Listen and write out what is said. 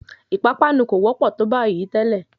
Ìpápánu kò wọ́pọ̀ tó bayìí tẹ́lẹ̀.